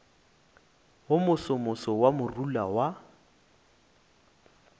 wo mosomoso wa morula wa